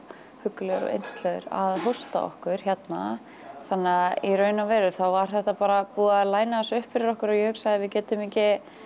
huggulegur og yndislegur að hósta okkur hérna þannig að í raun og veru var bara búið að læna þessu upp fyrir okkur og ég hugsaði við getum ekki